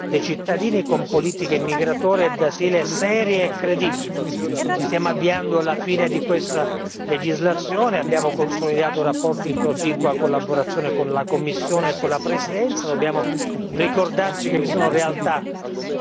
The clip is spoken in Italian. Bisogna nel contempo rafforzare la sicurezza dei cittadini con politiche migratorie e di asilo serie e credibili. Ci stiamo avviando alla fine di questa legislatura, abbiamo consolidato rapporti di proficua collaborazione con la Commissione e con la Presidenza.